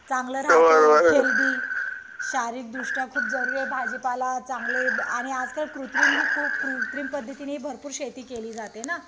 चांगलं राहत हेल्दी राहत शारीरिक दृष्ट्या खूप जरुरी आहे भाजीपाला आणि चांगले आणि आजकाल कृत्रिम खूप कृत्रिम पद्धतींनी भरपूर शेती केली जाते ना